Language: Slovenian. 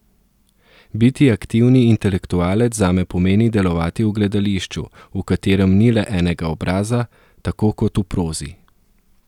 Biti aktivni intelektualec zame pomeni delovati v gledališču, v katerem ni le enega obraza, tako kot v prozi.